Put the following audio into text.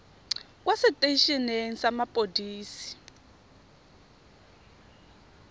kwa setei eneng sa mapodisi